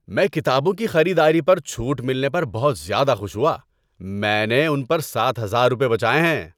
میں کتابوں کی خریداری پر چھوٹ ملنے پر بہت زیادہ خوش ہوا۔ میں نے ان پر سات ہزار روپے بچائے ہیں!